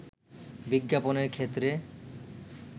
বিজ্ঞাপনের ক্ষেত্রে